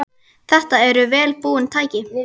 Þetta eru vel búin tæki.